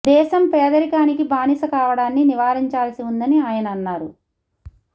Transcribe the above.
దేశం పేదరికానికి బానిస కావడాన్ని నివారించాల్సి ఉందని ఆయన అన్నారు